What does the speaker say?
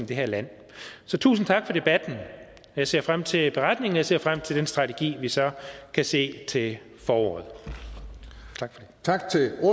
det her land så tusind tak for debatten og jeg ser frem til beretningen og jeg ser frem til den strategi vi så kan se til foråret tak